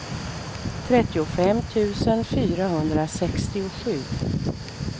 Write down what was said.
trettiofem tusen fyrahundrasextiosju